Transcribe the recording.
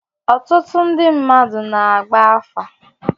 Ọtụtụ ndị mmadụ na-agba afa.